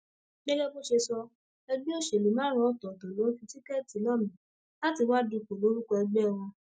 gẹgẹ bó ṣe sọ ẹgbẹ òṣèlú márùnún ọtọọtọ ló ń fi tíkẹẹtì lọ mí láti wàá dúpọ lórúkọ ẹgbẹ wọn